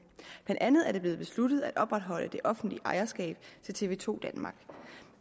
blandt andet er det blev besluttet at opretholde det offentlige ejerskab til tv to danmark